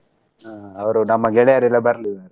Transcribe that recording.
ಹ ಅವ್ರು ನಮ್ಮ ಗೆಳೆಯರೆಲ್ಲ ಬರ್ಲಿ.